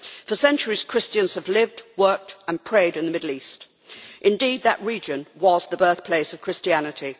For centuries Christians have lived, worked and prayed in the Middle East. Indeed, that region was the birthplace of Christianity.